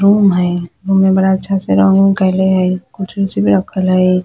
रूम हई रूम में बड़ा अच्छा से रंग-उंग कइले हई कुर्सी-उर्सी भी रखल हई।